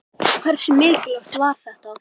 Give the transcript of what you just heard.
Hversu mikilvægt var þetta?